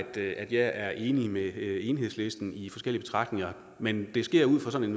er enig med enhedslisten i forskellige betragtninger men det sker ud fra sådan